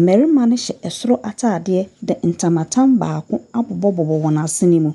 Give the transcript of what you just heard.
mmarima no hyɛ soro ataadeɛ de ntama tam baako abobɔ wɔn asene.